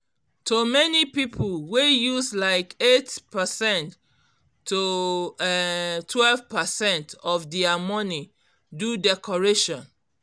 to many people wey use like eight percent to um twelve percent of dia money do decoration